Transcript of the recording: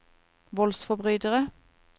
voldsforbrytere